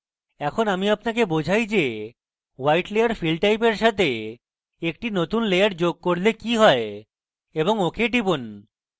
এখন আমি আপনাকে বোঝাই যে white layer fill type এর সাথে একটি নতুন layer যোগ করলে কি হয় এবং ok টিপুন